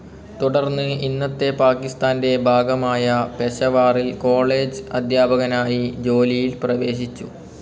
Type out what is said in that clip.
തുടർന്ന് ഇന്നത്തെ പാകിസ്ഥാൻ്റെ ഭാഗമായ പെഷവാറിൽ കോളേജ്‌ അധ്യാപകനായി ജോലിയിൽ പ്രവേശിച്ചു.